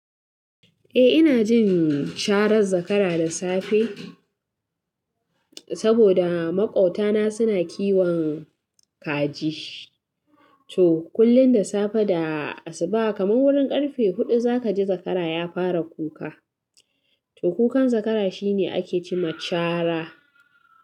Eh ina jin sharan zakara da safe, saboda maƙwautana suna kiwon kaji. To, kullum da safe da asuba kaman wurin karfe huɗu zaka ji zakara ya fara kuka. To, kukan zakara shi ne ake ce ma cara.